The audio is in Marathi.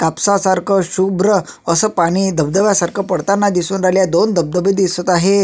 कापसा सारख शुभ्र अस पानी धबधब्या सारख पडताना दिसून राहिले आहे दोन धबधबे दिसत आहे.